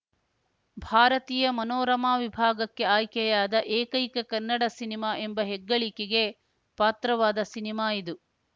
ಭಾರತೀಯ ಮನೋರಮಾ ವಿಭಾಗಕ್ಕೆ ಆಯ್ಕೆಯಾದ ಏಕೈಕ ಕನ್ನಡ ಸಿನಿಮಾ ಎಂಬ ಹೆಗ್ಗಳಿಕೆಗೆ ಪಾತ್ರವಾದ ಸಿನಿಮಾ ಇದು